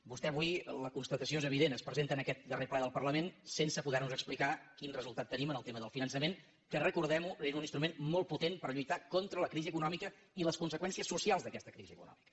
vostè avui la constatació és evident es presenta en aquest darrer ple del parlament sense poder nos explicar quin resultat tenim en el tema del finançament que recordem ho era un instrument molt potent per lluitar contra la crisi econòmica i les conseqüències socials d’aquesta crisi econòmica